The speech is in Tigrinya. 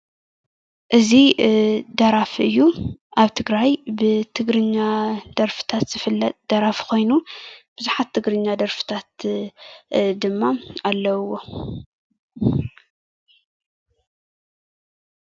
እዚ ደራፊ እዩ። አብ ትግራይ ብትግርኛ ደርፍታት ዝፍለጥ ደራፊ ኮይኑ ብዛሓት ትግርኛ ደሪፍታት ድማ አለውዎ፡፡